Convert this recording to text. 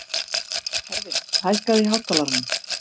Hervin, hækkaðu í hátalaranum.